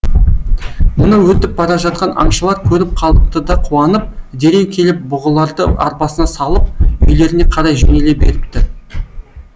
мұны өтіп бара жатқан аңшылар көріп қалыпты да қуанып дереу келіп бұғыларды арбасына салып үйлеріне қарай жөнеле беріпті